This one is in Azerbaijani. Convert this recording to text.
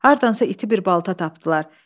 Hardansa iti bir balta tapdılar.